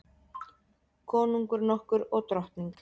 Konungur nokkur og drottning.